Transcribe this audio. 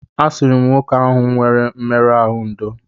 A sịrị m nwoke ahụ nwere mmerụ ahụ ndò.